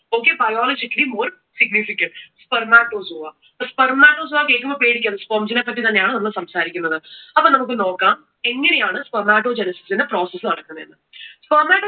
okay, biologically more significant. Spermatozoa. അപ്പോ Spermatozoa എന്ന് കേൾക്കുമ്പോ പേടിക്കല്ല്, sperm ne പറ്റി തന്നെ അന്ന് നമ്മൾ സംസാരിക്കുന്നത്. അപ്പോ നമുക് നോക്കാം എങ്ങനെ ആണ് spermatogenesis ന്റെ process നടക്കുന്നത് എന്ന്.